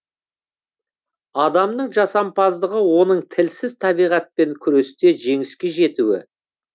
адамның жасампаздығы оның тілсіз табиғатпен күресте жеңіске жетуі